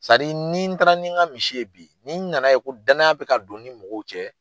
ni taara ni n ka misi ye bi ni n nana ye ko danaya bɛ ka don ni mɔgɔw cɛ.